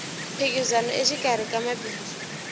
mphikizano exikarhi ka mabindzu